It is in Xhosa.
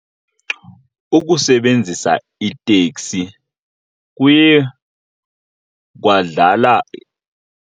Ukusebenzisa iteksi kuye kwadlala .